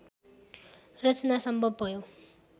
रचना सम्भव भयो